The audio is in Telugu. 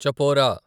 చపోరా